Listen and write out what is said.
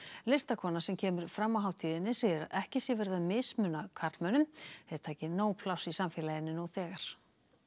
listakona sem kemur fram á hátíðinni segir að ekki sé verið að mismuna karlmönnum þeir taki nóg pláss í samfélaginu nú þegar